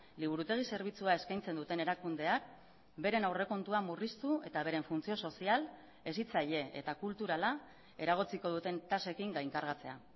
liburutegi zerbitzua eskaintzen duten erakundeak beren aurrekontua murriztu eta beren funtzio sozial hezitzaile eta kulturala eragotziko duten tasekin gainkargatzea